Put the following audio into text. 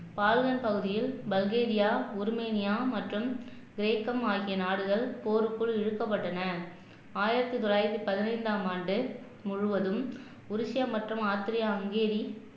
பகுதியில் Bulgaria Romania மற்றும் கிரேக்கம் ஆகிய நாடுகள் போருக்குள் இழுக்கப்பட்டன ஆயிரத்தி தொள்ளாயிரத்தி பதினைந்தாம் ஆண்டு முழுவதும் உருசியா ஆஸ்திரியா ஹங்கேரி